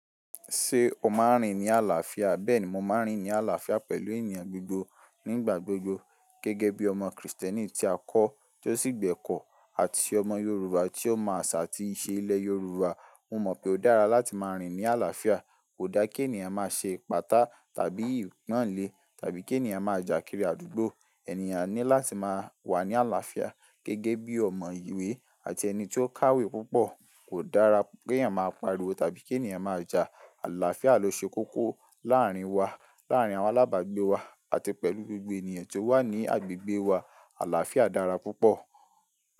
Ṣé o máa ń rìn ní àlàáfíà? Bẹ́ẹ̀ni mo máa ń rìn ní àlàáfíà pẹ̀lú ènìyàn gbogbo nígbà gbogbo gẹ́gẹ́ bí ọmọ Krìstẹ́nì tí a kọ́ tó sì gbẹ́kọ̀ ọ́ àti ọmọ Yorùbá tí ó mọ àṣà àti ìṣe ilẹ̀ Yorùbá. Mo mọ̀ pé ó dára láti máa rìn ní àlàáfíà. Kò dáa ki ènìyàn máa ṣe ipáta tàbí ipanle tàbí ki ènìyàn máa jàkiri àdúgbò. Ẹ̀nìyàn ní láti máa wà ní àlàáfíà gẹ́gẹ́ bí ọmọ ìwé àti ẹni tí ó kàwé púpọ̀. Kò dára pé ènìyàn máa pariwo tàbí pé ènìyàn máa jà. Àlàáfíà ló ṣe kókó láàárín wa, láàárín àwọn alábàágbé wa àti pẹ̀lú gbogbo ènìyàn tó wà ní agbègbèe wà. Àlàáfíà dára púpọ̀.